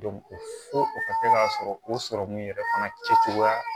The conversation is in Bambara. fo o ka kɛ k'a sɔrɔ o sɔrɔmu yɛrɛ fana kɛcogoya